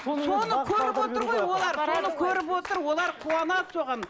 соны көріп отыр ғой олар соны көріп отыр олар қуанады соған